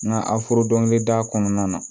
Nga dɔnke da kɔnɔna na